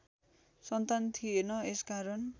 सन्तान थिएन यसकारण